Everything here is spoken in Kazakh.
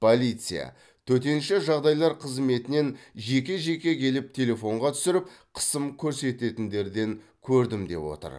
полиция төтенше жағдайлар қызметінен жеке жеке келіп телефонға түсіріп қысым көрсететіндерден көрдім деп отыр